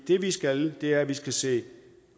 det vi skal er at vi skal se